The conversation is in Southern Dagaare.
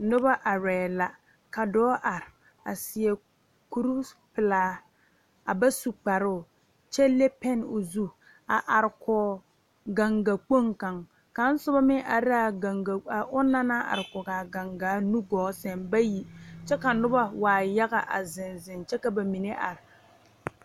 Die poɔ la ka ba are nobɔ la are ka tabolɔ biŋ ka kɔmpiuta laptare a dɔɔle a be ka ba yuo ka nu a zɛge o nubie ka dɔɔ are ti tabole kyɛ muulo kaara ka kaŋa meŋ are a teɛ nu eŋnɛ kyɛ ka pɔɔ are kaara.